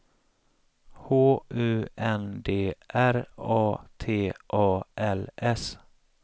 H U N D R A T A L S